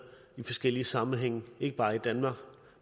i forskellige sammenhænge ikke bare i danmark